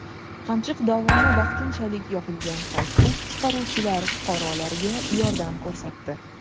Qamchiq dovoni vaqtinchalik yopilgan paytda qutqaruvchilar fuqarolarga yordam ko‘rsatdi.